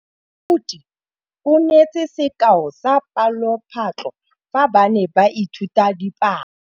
Moithuti o neetse sekaô sa palophatlo fa ba ne ba ithuta dipalo.